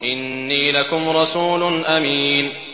إِنِّي لَكُمْ رَسُولٌ أَمِينٌ